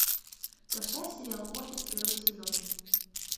поставь сериал офис первый сезон